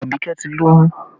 Abike ti lóyún